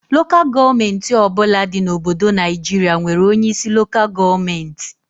Lokal gọọmenti ọbụla dị na Obodo Naịjiria nwere onye isi Lokal gọọmenti